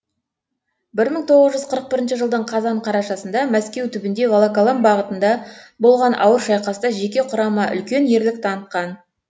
бір мың тоғыз жүз қырық бірінші жылдың қазан қарашасында мәскеу түбінде волоколам бағытында болған ауыр шайқаста жеке құрама үлкен ерлік танытқан